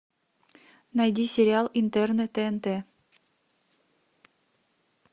найди сериал интерны тнт